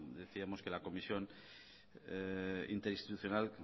decíamos que la comisión interinstitucional